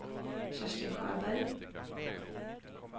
Kerstin Sjöberg